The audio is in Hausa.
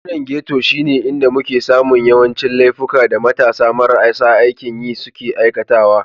Yankunan Ghetto shine inda muke samun yawancin laifuka da matasa marasa aikin yi suke aikatawa.